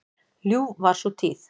Ljúf var sú tíð.